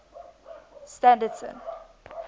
standerton